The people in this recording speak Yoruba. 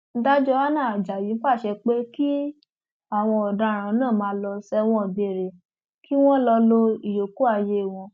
dájọ hannah ajayi pàṣẹ pé kí àwọn ọdaràn náà máa lọ sẹwọn gbére kí wọn lọọ lo ìyókù ayé wọn